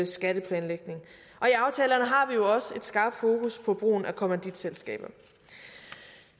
skatteplanlægning og i aftalerne har vi jo også et skarpt fokus på brugen af kommanditselskaber